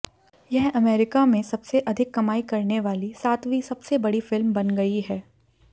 यह अमेरिकी में सबसे अधिक कमाई करने वाली सातवीं सबसे बड़ी फिल्म बन गई है